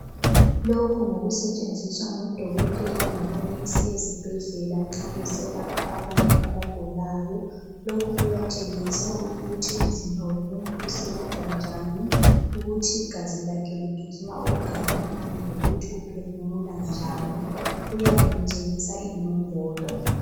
Lokhu ngokusetshenziswa ngodokotela labonesi ezibhedlela nxa beselapha abantu abagulayo. Lokhu kuyatshengisa ukuthi umzimba womuntu usebenza njani, ukuthi igazi lakhe ligijima okungakanani lokuthi uphefumula njani kuyabekutshengisa inombolo.